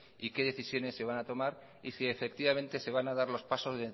y qué decisiones se van a tomar y si se van a dar los pasos